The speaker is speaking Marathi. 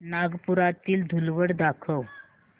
नागपुरातील धूलवड दाखव